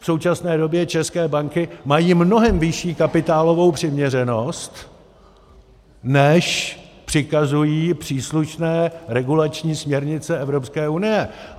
V současné době české banky mají mnohem vyšší kapitálovou přiměřenost, než přikazují příslušné regulační směrnice Evropské unie.